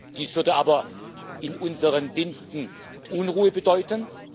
Dies würde aber in unseren Diensten Unruhe bedeuten.